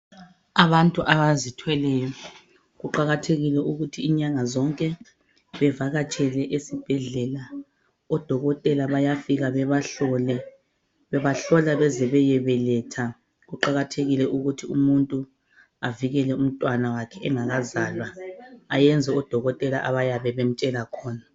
Abantu abazithweleyo kuqakathekile ukuthi inyanga zonke bevakatshele esibhedlela. Odokotela bayafika bebahlole, babahlola baze bayebeletha. Kuqakathekile ukuthi umuntu avikele umntwana wakhe engakazalwa, eyenze odokotela abayabe bemtshela khona.